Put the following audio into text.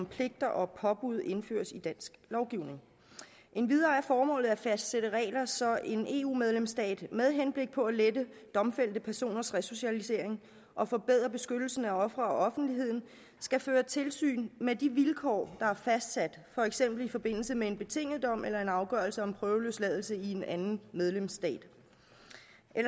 pligter og påbud indføres i dansk lovgivning endvidere er formålet at fastsætte regler så en eu medlemsstat med henblik på at lette domfældte personers resocialisering og forbedre beskyttelsen af ofre og offentligheden skal føre tilsyn med de vilkår der er fastsat for eksempel i forbindelse med en betinget dom eller en afgørelse om prøveløsladelse i en anden medlemsstat